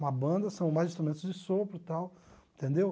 Uma banda são mais instrumentos de sopro e tal, entendeu?